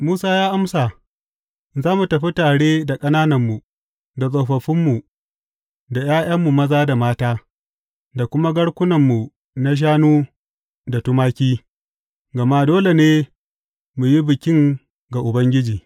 Musa ya amsa, Za mu tafi tare da ƙanananmu, da tsofaffinmu, da ’ya’yanmu maza da mata, da kuma garkunanmu na shanu da tumaki, gama dole ne mu yi bikin ga Ubangiji.